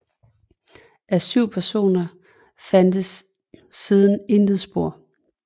Af 7 personer fandtes siden intet spor